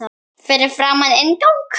Fyrir framan inngang